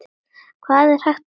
Hvað er hægt að segja?